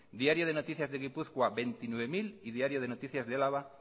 diario de noticias de gipuzkoa veintinueve mil y diario de noticias de álava